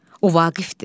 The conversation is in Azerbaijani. O Vaqifdir.